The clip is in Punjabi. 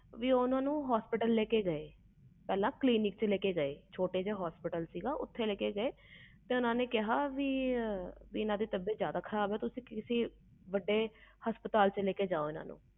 ਓਹਨੂੰ ਹਸਪਤਾਲ ਲੈ ਕੇ ਗਏ ਪਹਲੇ clinic ਵਿਚ ਲੈ ਕੇ ਗਏ ਛੋਟਾ ਜਾ ਹਸਪਤਾਲ ਸੀ ਓਥੇ ਲੈ ਕੇ ਗਏ ਤੇ ਓਹਨਾ ਨੇ ਕਿਹਾ ਵੱਡੇ ਹਸਪਤਾਲ ਵਿਚ ਲੈ ਕੇ ਜਾਓ